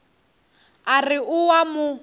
a re o a mo